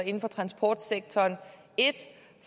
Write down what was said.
inden for transportsektoren